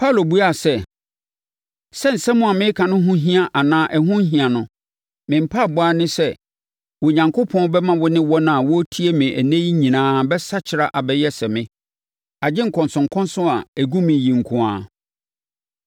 Paulo buaa sɛ, “Sɛ nsɛm a mereka no ho hia anaa ɛho nhia no, me mpaeɛbɔ ara ne sɛ, Onyankopɔn bɛma wo ne wɔn a wɔretie me ɛnnɛ yi nyinaa bɛsakyera abɛyɛ sɛ me, agye nkɔnsɔnkɔnsɔn a ɛgu me yi nko ara.”